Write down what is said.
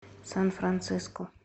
сан франциско